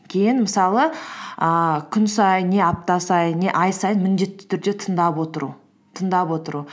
кейін мысалы ііі күн сайын не апта сайын не ай сайын міндетті түрде тыңдап отыру тыңдап отыру